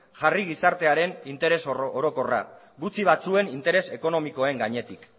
jarri gizartearen interes orokorra gutxi batzuen interes ekonomikoen gainetik